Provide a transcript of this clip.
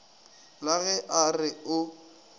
la ge a re o